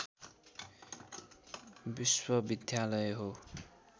विश्वविद्यालय हो